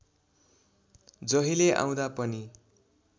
जहिले आउँदा पनि